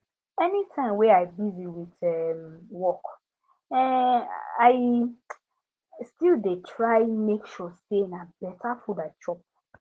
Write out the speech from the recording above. any time wey i busy with um work um i um still dey try make sure say na better food i chop